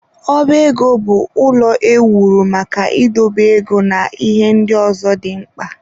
Ọba ego bụ ụlọ ewuru maka idobe ego na ihe ndị ọzọ dị mkpa.